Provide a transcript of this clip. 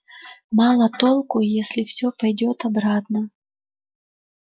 мало толку если всё пойдёт обратно